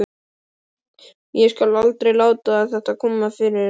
Ég skal aldrei láta þetta koma fyrir aftur.